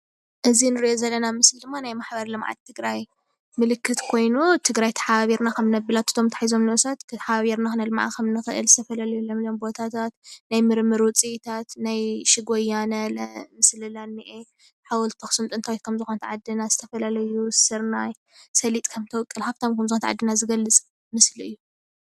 እዚ እንሪኦ ዘለና ምስሊ ድማ ናይ ማሕበር ልምዓት ትግራይ ምልክት ኮይኑ ፣ትግራይ ተሓባቢርና ክብ ክነብላ እቶም ተታሒዛ፣ ነብሳት ተሓባቢርና ክነልምዓ ከምእንክእል ዝተፈላለየ ለምለም ቦታታት፣ ናይ ምርምር ውፅኢታት፣ ናይ ሽግ ወያን ለመፅ ስለላ እኒአ ፣ ሓወልቲ አክሱም ጥንታዊት ዝኮነት ዓዲ ዝተፈላለዩ ስርናይ፣ ሰሊጥ ከም እትውቅል ሃፍታም ከም ዝኮነት ዓድና ዝገልፅ ምስሊ እዩ፡፡